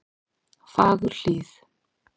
Fagurhlíð